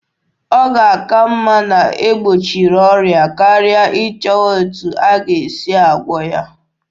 Ọ ga-aka mma na-egbochiri ọrịa karịa ịchọwa etu a ga-esi gwụọ ya.